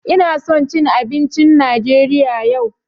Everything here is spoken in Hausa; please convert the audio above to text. Ina son jcn abincin Najeriya yau.